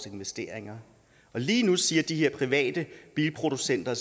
investeringer lige nu siger de her private bilproducenter